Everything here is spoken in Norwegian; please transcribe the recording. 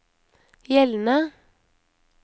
gjeldende